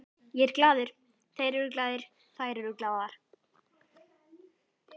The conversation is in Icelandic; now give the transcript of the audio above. Ég er glaður, þeir eru glaðir, þær eru glaðar.